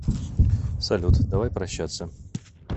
салют давай прощаться